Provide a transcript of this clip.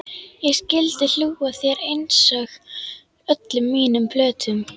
Ég skyldi hlú að þér einsog öllum mínum plöntum.